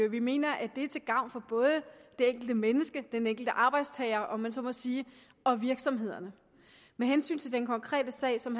vi mener at det er til gavn for både det enkelte menneske den enkelte arbejdstager om man så må sige og virksomhederne med hensyn til den konkrete sag som